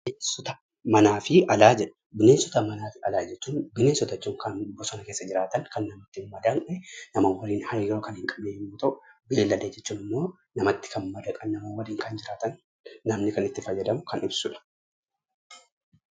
Bineensota manaafi alaa jedha: bineensota manaafi alaa jechuun bineensota jechuun Kan bosona keessa jiraatan kan namatti hin madaqne nama wajjiin hariroo Kan hin qabne yoo ta'u, beylada jechuun immoo namatti Kan madaqan, nama walin Kan jiraatan namni Kan itti faayyadamu Kan ibsuudha.